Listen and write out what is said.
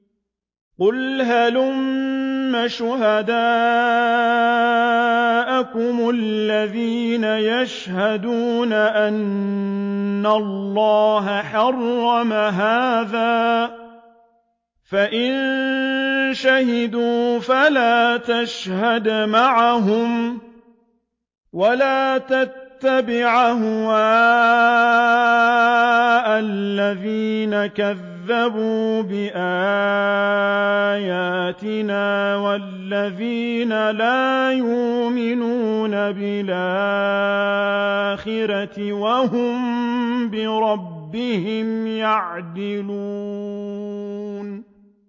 قُلْ هَلُمَّ شُهَدَاءَكُمُ الَّذِينَ يَشْهَدُونَ أَنَّ اللَّهَ حَرَّمَ هَٰذَا ۖ فَإِن شَهِدُوا فَلَا تَشْهَدْ مَعَهُمْ ۚ وَلَا تَتَّبِعْ أَهْوَاءَ الَّذِينَ كَذَّبُوا بِآيَاتِنَا وَالَّذِينَ لَا يُؤْمِنُونَ بِالْآخِرَةِ وَهُم بِرَبِّهِمْ يَعْدِلُونَ